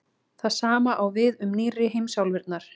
það sama á við um „nýrri“ heimsálfurnar